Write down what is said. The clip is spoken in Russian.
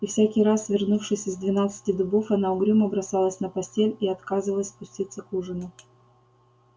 и всякий раз вернувшись из двенадцати дубов она угрюмо бросалась на постель и отказывалась спуститься к ужину